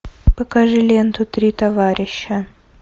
покажи ленту три товарища